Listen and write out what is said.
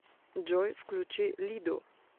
джой включи лидо